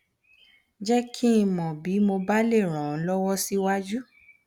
jẹ kí n mọ bí mo bá le ràn ọ lọwọ síwájú